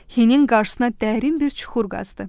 Hinin qarşısına dərin bir çuxur qazdı.